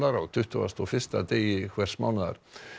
á tuttugasta og fyrsta degi hvers mánaðar